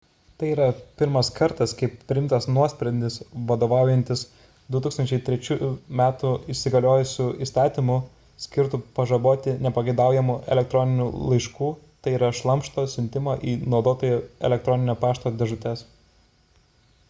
tai pirmas kartas kai priimtas nuosprendis vadovaujantis 2003 m įsigaliojusiu įstatymu skirtu pažaboti nepageidaujamų el laiškų tai yra šlamšto siuntimą į naudotojų el pašto dėžutes